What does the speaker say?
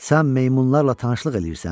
Sən meymunlarla tanışlıq eləyirsən?